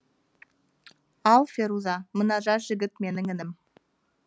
ал феруза мына жас жігіт менің інім